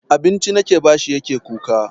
Abinci nake bashi yake kuka.